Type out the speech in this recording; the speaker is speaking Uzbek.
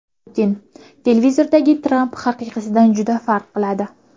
Putin: Televizordagi Tramp haqiqiysidan juda farq qiladi.